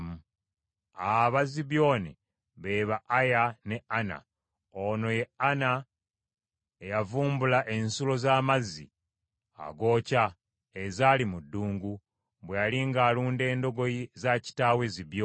Aba Zibyoni, be ba Aya ne Ana; ono ye Ana eyavumbula ensulo z’amazzi agookya, ezaali mu ddungu; bwe yali ng’alunda endogoyi za kitaawe Zibyoni.